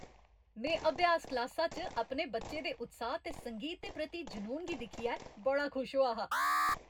में अभ्यास क्लासा च अपने बच्चे दे उत्साह ते संगीत दे प्रति जुनून गी दिक्खियै बड़ा खुश होआ हा।